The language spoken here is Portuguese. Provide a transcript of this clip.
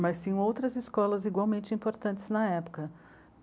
mas sim outras escolas igualmente importantes na época.